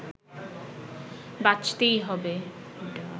বাঁচতেই হবে